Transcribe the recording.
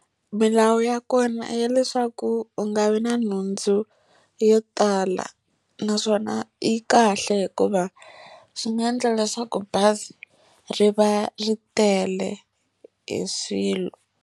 Milawu ya kona ya leswaku u nga vi na nhundzu yo tala. Naswona yi kahle hikuva swi nga endla leswaku bazi ri va ri tele hi swilo.